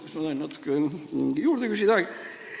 Kas ma saan natuke aega juurde küsida?